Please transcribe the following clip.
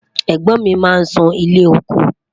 ègbón mí má n sún ilé ọkọ